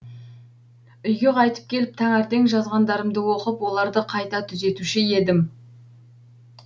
үйге қайтып келіп таңертең жазғандарымды оқып оларды қайта түзетуші едім